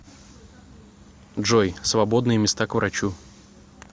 джой свободные места к врачу